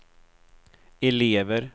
elever